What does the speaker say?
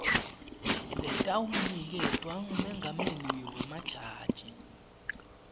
letawuniketwa ngumengameli wemajaji